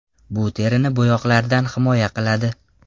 Bu terini bo‘yoqlardan himoya qiladi.